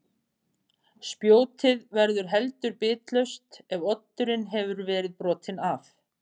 Spjótið verður heldur bitlaust ef oddurinn hefur verið brotinn af.